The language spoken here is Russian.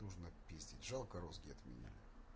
нужно пиздить жалко розги отменили